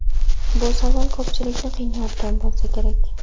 Bu savol ko‘pchilikni qiynayotgan bo‘lsa kerak.